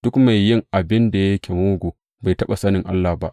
Duk mai yin abin da yake mugu bai taɓa sanin Allah ba.